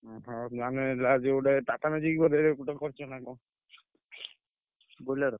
ଓହୋ ତାହାଲେ ଗୋଟେ TATA Magic ବୋଧେ କରିଛନା କଣ? Bolero ।